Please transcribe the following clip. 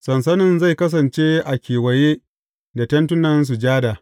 Sansanin zai kasance a kewaye da Tentin Sujada.